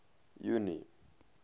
junie